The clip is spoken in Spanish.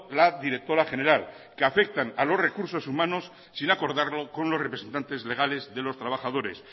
la directora general que afectan a los recursos humanos sin acordarlo con los representantes legales de los trabajadores